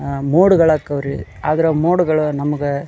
ಆಹ್ಹ್ mode ಗಳು ಅಕ್ಕವ ರೀ ಅದ್ರ ಮೋಡ್ ಗಳು ನಮಗ--